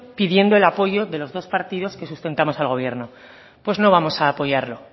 pidiendo el apoyo de los dos partidos que sustentamos al gobierno pues no vamos a apoyarlo